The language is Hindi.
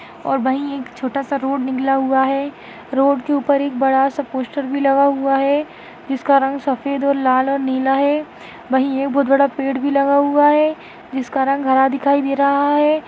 और वही एक छोटासा रोड निकला हुआ है रोड के उपर एक बड़ासा पोस्टर भी लगा हुआ है जिसका रंग सफ़ेद और लाल और नीला है बही एक बहुत बड़ा पेड़ भी लगा हुआ है जिसका रंग हरा दिखाई दे रहा है।